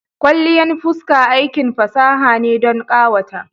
Kwalliyan fuska aikin fasaha ne don ƙawata.